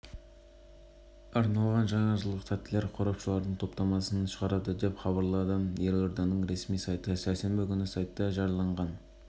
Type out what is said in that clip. астана желтоқсан қаз қауіпсіз жаңа жыл акциясы аясында елордалық департаменті баян сұлу кондитерлік фабрикасымен бірге балаларға